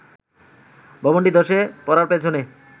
ভবনটি ধসে পড়ার পেছনে